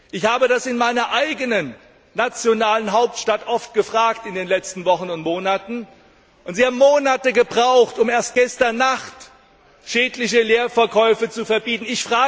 Ich habe das in meiner eigenen nationalen Hauptstadt in den letzten Wochen und Monaten oft gefragt, und Sie haben Monate gebraucht, um erst gestern Nacht schädliche Leerverkäufe zu verbieten.